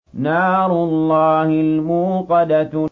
نَارُ اللَّهِ الْمُوقَدَةُ